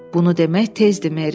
Bunu demək tezdir, Meri,